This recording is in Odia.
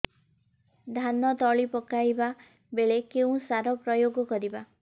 ଧାନ ତଳି ପକାଇବା ବେଳେ କେଉଁ ସାର ପ୍ରୟୋଗ କରିବା